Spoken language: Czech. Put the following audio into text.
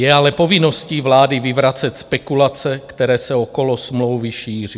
Je ale povinností vlády vyvracet spekulace, které se okolo smlouvy šíří.